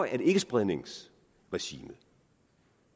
at ikkespredningsregimet